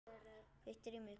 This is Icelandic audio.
Hvítt rými, hvít birta.